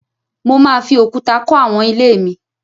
Mo máa fi òkúta kọ́ àwọn ilé mi